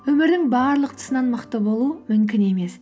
өмірдің барлық тұсынан мықты болу мүмкін емес